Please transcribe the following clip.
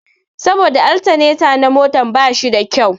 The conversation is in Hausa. Saboda altaneta na motar ba shi da kyau